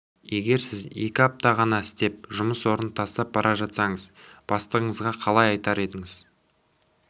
егер сіз екі апта ғана істеп жұмыс орнын тастап бара жатсаңыз бастығыңызға қалай айтар едіңіз